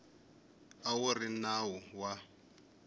a wu ri nawu wa